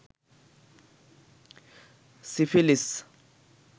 syphilis